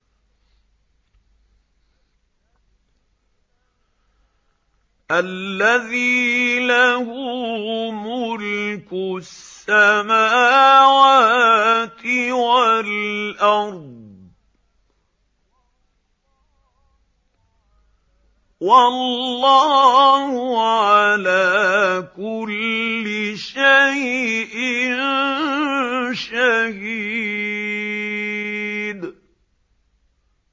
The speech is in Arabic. الَّذِي لَهُ مُلْكُ السَّمَاوَاتِ وَالْأَرْضِ ۚ وَاللَّهُ عَلَىٰ كُلِّ شَيْءٍ شَهِيدٌ